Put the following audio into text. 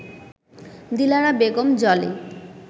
Dilara Begum Jolly